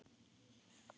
Lífið er gleði og sorg.